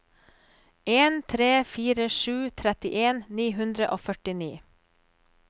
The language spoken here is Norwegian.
en tre fire sju trettien ni hundre og førtini